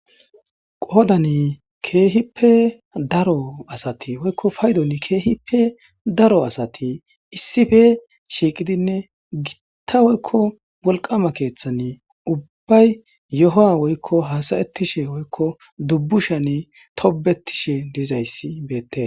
Qoddani keehippe daro asati woykko paydon keehippe daro asati issippe shiiqidinne gitta woykko wolqama keeththani ubbay yohuwa woykko hassa'etishe woykko dubbushani tobbetishe dizayssi beetes.